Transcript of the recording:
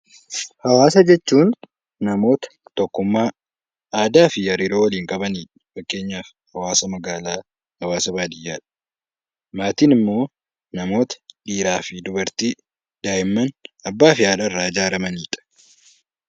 Hawaasa jechuun namoota tokkummaa, aadaa fi hariiroo waliin qabani dha. Fakkeenyaaf hawaasa magaalaa, hawaasa baadiyyaa dha. Maatiin immoo namoota dhiiraa fi dubartii, daa'imman, abbaa fi haadha irraa ijaaramani dha.